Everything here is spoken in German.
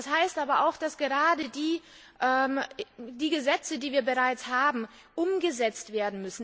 Das heißt aber auch, dass gerade die Gesetze, die wir bereits haben, umgesetzt bzw.